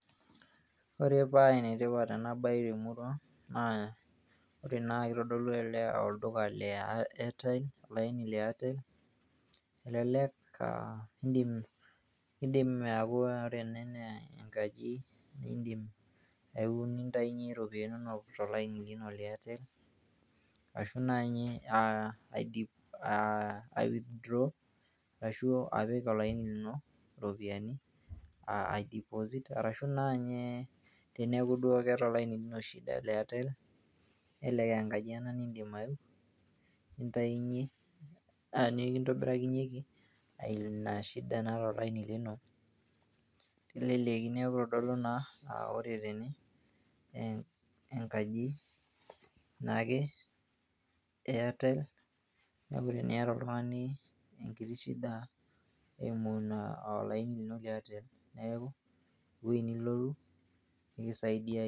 Ore paa enetipat ena baye temurua naa ore naa kitodolu olduka le Airtel elelek aa in'dim aaku ore ene naa enkaji niin'dim atayunyie iropiani inonok te Airtel arashu naa inye CS[withdraw]CS arashu apik olaini lino iropiani CS[deposit]CS arashu naaji ninye teneeku keeta olaini lino shida le Airtel nelelek aa enkaji ena niin'dim ayeu nikintobirakinyieki inashida naata olaini lino teleleki neeku kitodolu naa aa ore tene enkaji naake ee Airtel neeku teniyata oltung'ani enkiti shida eimu olaini lino le Airtel neeku ewoji nilotu nikisaidiae.